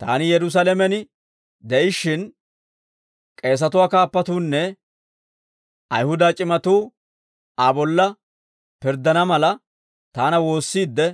Taani Yerusaalamen de'ishshin, k'eesatuwaa kaappatuunne Ayihuda c'imatuu Aa bolla pirddana mala, taana woossiidde,